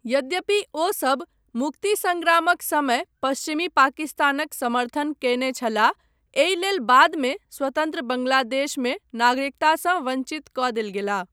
यद्यपि ओ सभ मुक्ति संग्रामक समय पश्चिमी पाकिस्तानक समर्थन कयने छलाह एहि लेल बादमे स्वतन्त्र बांग्लादेशमे नागरिकतासँ वञ्चित कऽ देल गेलाह।